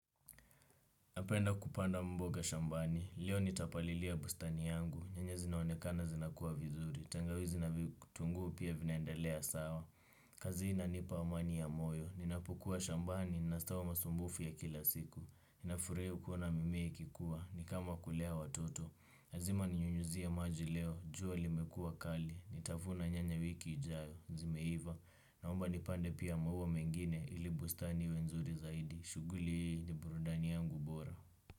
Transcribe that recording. Napenda kupanda mboga shambani, leo nitapalilia bustani yangu, nyanyazi naonekana zinakua vizuri, tangawizi na vitunguu pia vinaende lea sawa. Kazihii inanipa amani ya moyo, ninapokua shambani, ninasahau masumbufu ya kila siku, ninafurahia kuona mimea ikikua, nikama kulea watoto lazima ninyunyizie maji leo jua limekua kali nitavuna nyanya wiki ijayo zimeiva naomba nipande pia maua mengine ili bustani iwe nzuri zaidi shughuli hii ni burudani yangu bora.